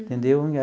Entendeu?